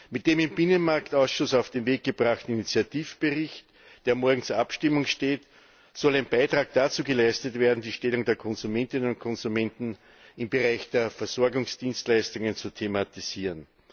Mit dem im Binnenmarktausschuss auf den Weg gebrachten Initiativbericht, der morgen zur Abstimmung steht, soll ein Beitrag dazu geleistet werden, die Stellung der Konsumentinnen und Konsumenten im Bereich der Versorgungsdienstleistungen zu thematisieren.